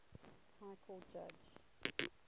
high court judge